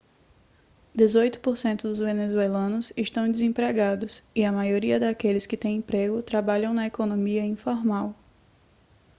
dezoito por cento dos venezuelanos estão desempregados e a maioria daqueles que tem emprego trabalham na economia informal